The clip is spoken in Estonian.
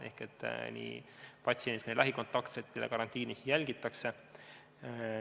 Ehk patsiendi ja tema lähikontaktsete karantiini jälgitakse.